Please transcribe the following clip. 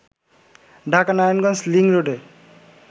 Dhaka-Narayanganj link রোডে